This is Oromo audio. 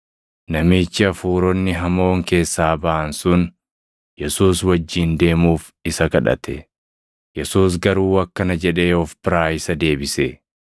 Namichi hafuuronni hamoon keessaa baʼan sun Yesuus wajjin deemuuf isa kadhate; Yesuus garuu akkana jedhee of biraa isa deebise;